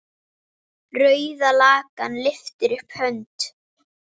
Rauða löggan lyftir upp hönd.